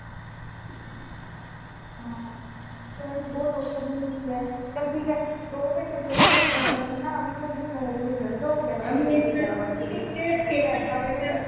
ਹਾਂ ਫੇਰ ਬਹੁਤ ਔਖਾ ਚਲ ਠੀਕ ਹੈ ਦੋ ਘੰਟੇ play way ਚ ਪਾਣਾ ਸੀ ਨਾ ਨੋ ਵਜੇ ਸੁੱਟ ਦੋ